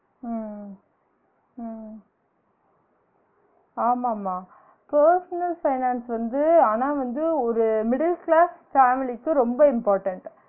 உம் உம் உம் ஆமா ஆமா personal finance வந்து ஆனா வந்து ஒரு middle class family க்கு ரொம்ப important